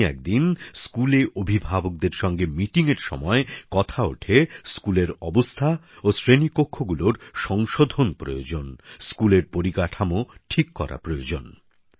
এমনই একদিন স্কুলে অভিভাবকদের সঙ্গে মিটিংএর সময় কথা ওঠে স্কুলের অবস্থা ও শ্রেণীকক্ষগুলোর সংশোধন প্রয়োজন স্কুলের পরিকাঠামো ঠিক করা প্রয়োজন